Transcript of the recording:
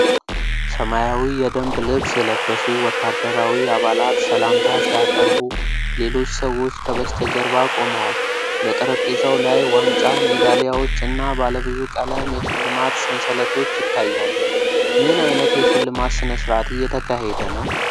ሰማያዊ የደንብ ልብስ የለበሱ ወታደራዊ አባላት ሰላምታ ሲያቀርቡ፣ ሌሎች ሰዎች ከበስተጀርባ ቆመዋል። በጠረጴዛው ላይ ዋንጫ፣ ሜዳሊያዎች እና ባለብዙ ቀለም የሽልማት ሰንሰለቶች ይታያሉ። ምን ዓይነት የሽልማት ሥነ-ሥርዓት እየተካሄደ ነው?